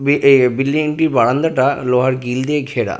B A building -টির বারান্দাটা লোহার গ্রিল দিয়ে ঘেরা।